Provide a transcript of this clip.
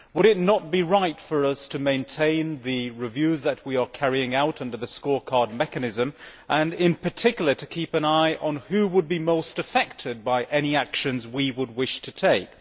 Would it not be right for us to maintain the reviews that we are carrying out under the scorecard mechanism and, in particular, to keep an eye on who would be most affected by any actions we would wish to take?